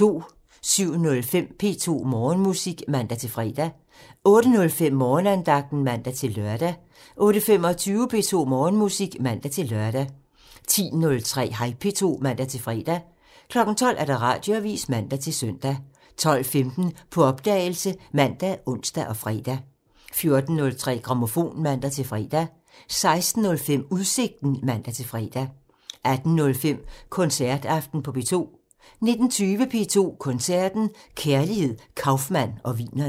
07:05: P2 Morgenmusik (man-fre) 08:05: Morgenandagten (man-lør) 08:25: P2 Morgenmusik (man-lør) 10:03: Hej P2 (man-fre) 12:00: Radioavisen (man-søn) 12:15: På opdagelse ( man, ons, fre) 14:03: Grammofon (man-fre) 16:05: Udsigten (man-fre) 18:05: Koncertaften på P2 19:20: P2 Koncerten – Kærligheden, Kaufmann og Wienerne